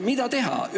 Mida teha?